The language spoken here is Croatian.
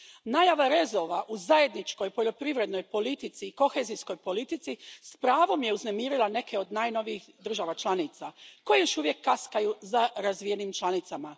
Najava rezova u Zajedničkoj poljoprivrednoj politici i kohezijskoj politici s pravom je uznemirila neke od najnovijih država članica koje još uvijek kaskaju za razvijenim članicama.